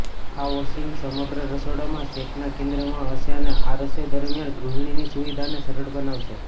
આ વોશિંગ સમગ્ર રસોડામાં સેટના કેન્દ્રમાં હશે અને આ રસોઈ દરમિયાન ગૃહિણીની સુવિધાને સરળ બનાવશે